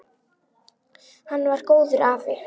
Hann var góður afi.